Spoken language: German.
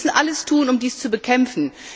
Wir müssen alles tun, um dies zu bekämpfen.